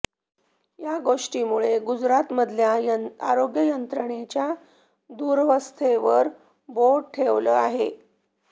या गोष्टींमुळे गुजरातमधल्या आरोग्य यंत्रणेच्या दुरवस्थेवर बोट ठेवलं आहे